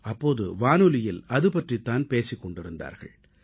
அப்போது வானொலியில் அது பற்றித் தான் பேசிக் கொண்டிருந்தார்கள்